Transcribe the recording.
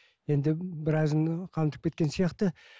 енді біразын қамтып кеткен сияқты